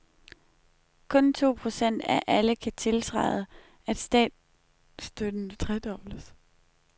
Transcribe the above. Kun to procent af alle kan tiltræde, at statsstøtten tredobles.